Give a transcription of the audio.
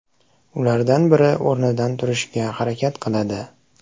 Ulardan biri o‘rnidan turishga harakat qiladi.